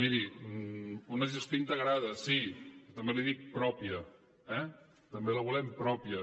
miri una gestió integrada sí també li dic pròpia eh també la volem pròpia